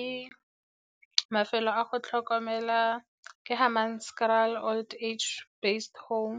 Ke mafelo a go tlhokomela ke Hammanskraal Old Age Based Home.